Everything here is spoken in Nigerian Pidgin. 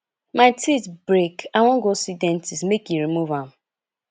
my teeth break i wan go see dentist make e remove am